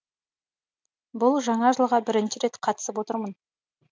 бұл жаңа жылға бірінші рет қатысып отырмын